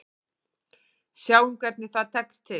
Sjáum hvernig það tekst til.